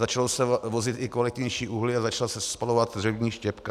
Začalo se vozit i kvalitnější uhlí a začala se spalovat dřevní štěpka.